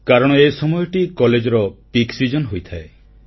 କାରଣ ଏହି ସମୟଟି କଲେଜର ସବୁଠାରୁ ବ୍ୟସ୍ତବହୁଳ ସମୟ ହୋଇଥାଏ